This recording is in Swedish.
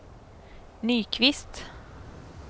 Nyqvist